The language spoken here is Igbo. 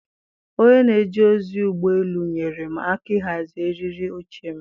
onye na-eje ozi ụgbọ elu nyeere m aka ịhazi eriri oche m.